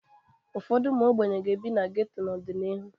Ụfọdụ ụmụ ogbenye ga-ebi na geto n'ọdịnihu.